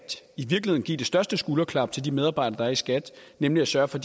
give det største skulderklap til de medarbejdere der er i skat nemlig at sørge for